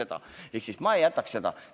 Ma ei vaataks seda.